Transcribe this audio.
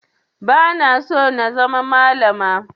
Ba na so na zama malama